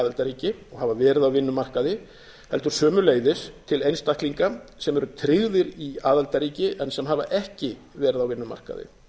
aðildarríki hafa verið á vinnumarkaði heldur sömuleiðis til einstaklinga sem eru tryggðir í aðildarríki en sem hafa ekki verið á vinnumarkaði